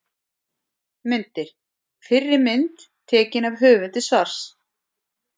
Myndir: Fyrri mynd: Tekin af höfundi svars.